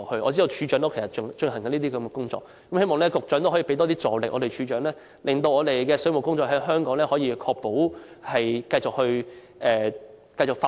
我知道署長其實也在進行這些工作，希望局長能向署長提供更大助力，令香港的水務工作得以繼續發展。